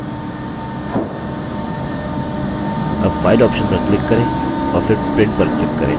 अब file option पर click करें और फिर print पर click करें